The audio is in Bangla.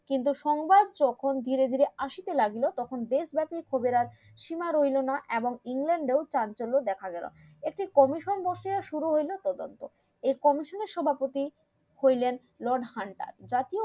কিন্তু সংবাদ যখন ধীরে ধীরে আসিতে লাগিল তখন শিমা রইলোনা এবং England দেখা গেলো একটি commission বসিয়া শুরু হইলো তদন্ত এই commission এর সভাপতি হইলেন লর্ড হান্টার জাতীয়